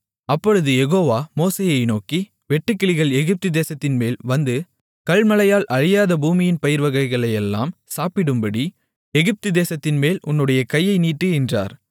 அப்பொழுது யெகோவா மோசேயை நோக்கி வெட்டுக்கிளிகள் எகிப்து தேசத்தின்மேல் வந்து கல்மழையால் அழியாத பூமியின் பயிர்வகைகளையெல்லாம் சாப்பிடும்படி எகிப்து தேசத்தின்மேல் உன்னுடைய கையை நீட்டு என்றார்